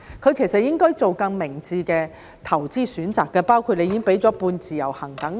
他其實應該做更明智的投資選擇，包括當局已經提供了"半自由行"等。